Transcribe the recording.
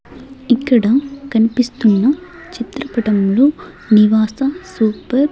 ఇక్కడ కన్పిస్తున్న చిత్రపటంలో నివాసం సూపర్ --